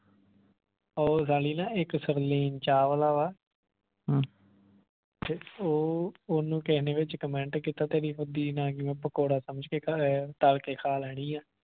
ਉਹ ਸਾਲੀ ਨਾ ਇਕ ਸੁਰਵੀਨ ਚਾਵਲਾ ਵਾ ਤੇ ਉਹ ਓਹਨੂੰ ਕਿਸੇ ਨੇ ਵਿਚ comment ਕੀਤਾ ਤੇਰੀ ਪਕੌੜਾ ਸਮਝ ਤੱਲ ਕੇ ਖਾ ਲੈਣੀ ਆ